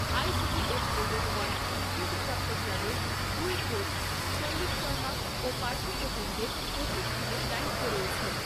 I T T F level one স্বীকৃতিপ্রাপ্ত ক্লাবের দুই কোচ সঞ্জীব শর্মা ও পার্থপ্রতিম দেব প্রশিক্ষনের দায়িত্বে রয়েছেন।